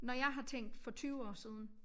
Når jeg har tænkt for 20 år siden